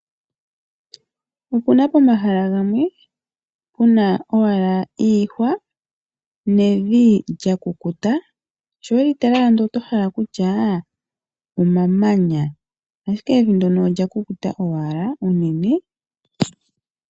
Opu na pomahala gamwe pu na owala iihwa nevi lya kukuta sho weli tala oto hala kutya omamanya ashike evi ndyono olya kukuta owala unene.